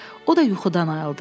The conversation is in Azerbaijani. O da yuxudan ayıldı.